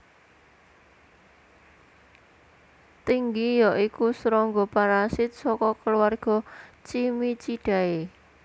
Tinggi ya iku srangga parasit saka keluarga Cimicidae